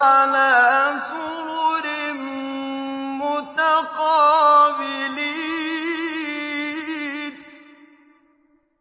عَلَىٰ سُرُرٍ مُّتَقَابِلِينَ